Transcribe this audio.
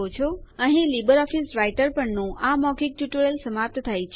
અહીં LibreOffice Writer પરના આ મૌખિક ટ્યુટોરીયલ સમાપ્ત થાય છે